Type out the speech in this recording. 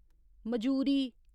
मजूरी